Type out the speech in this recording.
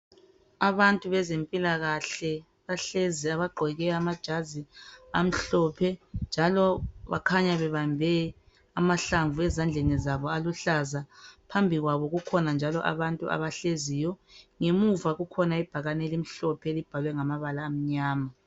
Abantu bezempilakahle bahlezi bagqoke amajazi amhlophe njalo bakhanya bebambe amahlamvu ezandleni zabo aluhlaza. Phambi kwabo kukhona njalo abantu abahleziyo. Ngemva kukhona ibhakani elimhlophe elibhalwe ngamabala amnyama.